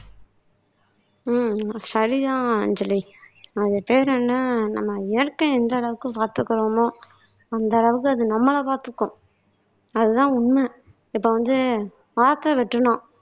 ஆஹ் சரிதான் அஞ்சலி அது பேர் என்ன நம்ம இயற்கை எந்த அளவுக்கு பாத்துக்கறோமோ அந்த அளவுக்கு அது நம்மளை பாத்துக்கும் அதுதான் உண்மை இப்ப வந்து ஆத்தை வெட்டணும்